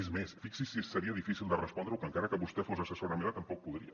és més fixi’s si seria difícil de respondre ho que encara que vostè fos assessora meva tampoc podria